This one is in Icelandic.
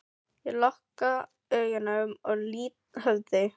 Ég loka augunum og lýt höfði.